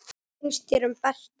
Hvað finnst þér um Berta?